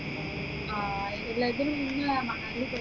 ആഹ് ഇതിലെ നിങ്ങളെ